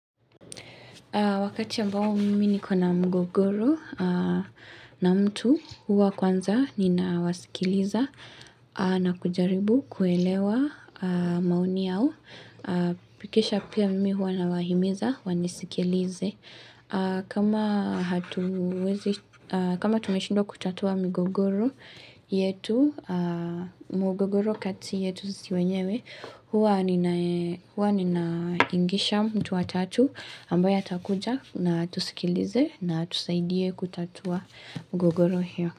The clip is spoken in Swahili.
Wakati ambao mimi niko na mgogoro na mtu huwa kwanza ninawasikiliza na kujaribu kuelewa maoni yao. Pikisha pia mimi huwa nawahimiza wanisikilize. Kama hatuwezi, kama tumeshindwa kutatua migogoro yetu, mugogoro kati yetu sisi wenyewe, huwa nina ninaingisha mtu watatu ambaye atakuja na atusikilize na atusaidie kutatua gogoro hiyo.